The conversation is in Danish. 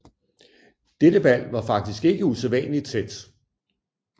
Dette valg var faktisk ikke usædvanligt tæt